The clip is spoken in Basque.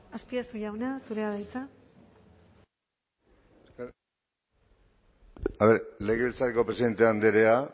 azpiazu jauna zurea da hitza legebiltzarreko presidente andrea